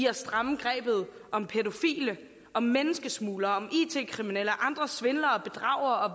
at stramme grebet om pædofile om menneskesmuglere om it kriminelle og andre svindlere og bedragere og